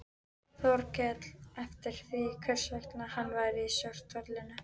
Þórkel eftir því hvers vegna hann væri í svartholinu.